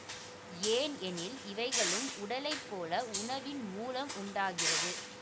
ஏன் எனில் இவைகளும் உடலைப் போல உணவின் மூலம் உண்டாகிறது